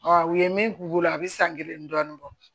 u ye min k'u bolo a bɛ san kelen dɔɔnin bɔ